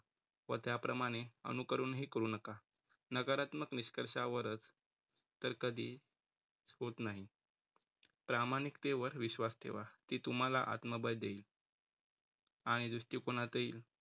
व त्याप्रमाणे अनुकरणही करू नका. नकारात्मक निष्कर्षावरचं तर कधी होत नाही. प्रामाणिकतेवर विश्वास ठेवा ती तुम्हाला आत्मबळ देईल आणि दृष्टिकोनातही